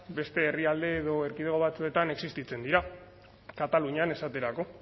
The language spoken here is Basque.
beste herrialde edo erkidego batzuetan existitzen dira katalunian esaterako